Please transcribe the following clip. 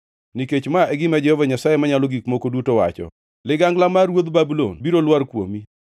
“ ‘Nikech ma e gima Jehova Nyasaye Manyalo Gik Moko Duto wacho: “ ‘Ligangla mar ruodh Babulon biro lwar kuomi.